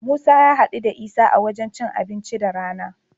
Musa ya haɗu da Isa a wajen cin abinci da rana.